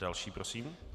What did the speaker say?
Další prosím.